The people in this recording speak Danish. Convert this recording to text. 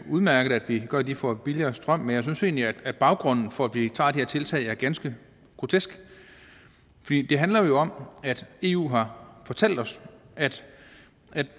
udmærket at vi gør at de får billigere strøm men jeg synes egentlig at baggrunden for at vi tager det her tiltag er ganske grotesk det handler jo om at eu har fortalt os at